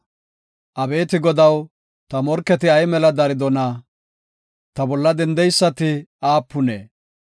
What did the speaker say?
Abeeti Godaw, ta morketi ay mela daridona! Ta bolla dendeysati aapune!